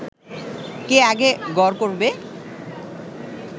কে আগে গড় করবে